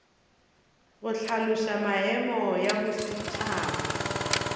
go hlaloša maemo ya bosetšhaba